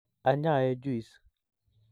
Anyaee juis